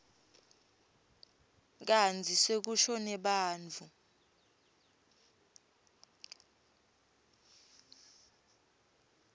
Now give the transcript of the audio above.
kantsi sekushone bantfu